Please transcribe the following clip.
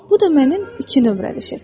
Bu da mənim iki nömrəli şəklim.